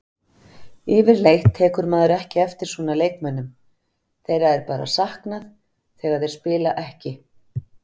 Yfirleitt tekur maður ekki eftir svona leikmönnum, þeirra er bara saknað þegar þeir spila ekki.